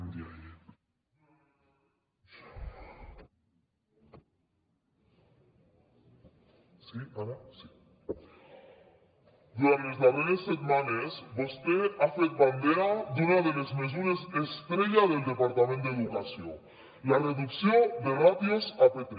durant les darreres setmanes vostè ha fet bandera d’una de les mesures estrella del departament d’educació la reducció de ràtios a p3